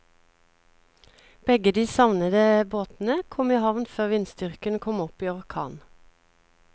Begge de savnede båtene kom i havn før vindstyrken kom opp i orkan.